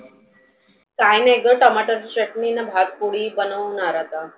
काही नाही ग tomato ची चटनी आन भात पोळी बनवनार आता.